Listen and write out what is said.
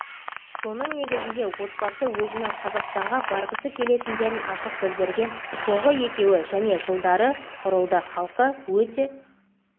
соның негізінде отбасы өзінің қазақстанға барғысы келетіндерін ашық білдірген соңғы екеуі және жылдары құрылды халқы өте